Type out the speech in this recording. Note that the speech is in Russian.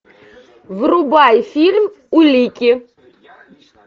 врубай фильм улики